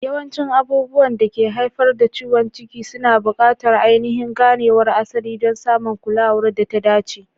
Yawancin abubuwan da ke haifar da ciwon ciki suna buƙatar ainihin ganewar asali don samun kulawar da ta dace.